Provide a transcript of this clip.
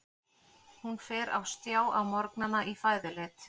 Hún fer á stjá á morgnana í fæðuleit.